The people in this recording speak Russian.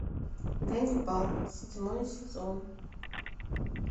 ганнибал седьмой сезон